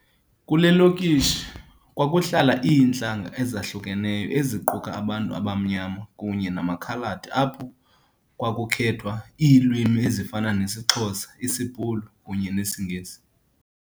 Kule lokishi kwakuhlala iintlanga ezahlukeneyo eziquka abantu abamnyama kunye namakhaladi apho kwakuthethwa iilwimi ezifana nesiXhosa, isiBhulu kunye nesiNgesi.